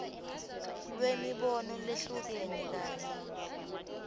lwemibono lehlukene kanye